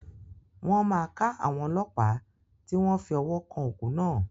Wọn má ka àwọn ọlọpa ti wọn fi ọwọ kan òkú náà.